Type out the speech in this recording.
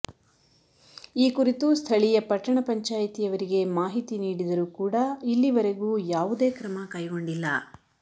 ಈ ಕುರಿತು ಸ್ಥಳಿಯ ಪಟ್ಟಣ ಪಂಚಾಯಿತಿಯವರಿಗೆ ಮಾಹಿತಿ ನೀಡಿದರು ಕೂಡಾ ಇಲ್ಲಿವರೆಗೂ ಯಾವುದೇ ಕ್ರಮ ಕೈಗೊಂಡಿಲ್ಲ